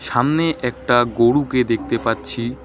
সামনে একটা গরুকে দেখতে পাচ্ছি।